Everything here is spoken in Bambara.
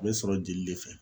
A bɛ sɔrɔ jeli le fɛ.